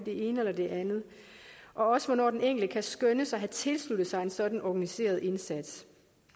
ene eller det andet og også hvornår den enkelte kan skønnes at have tilsluttet sig en sådan organiseret indsats